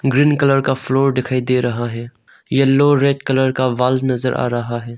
Green colour का floor दिखाई दे रहा है येलो रेड कलर का वॉल नजर आ रहा है।